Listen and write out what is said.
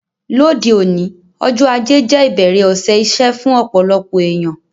Lóde òní, ọjọ́ ajé je ìbẹ̀rẹ̀ òsẹ̀ isẹ́ fún ọ̀pọ̀lọpọ̀ èyàn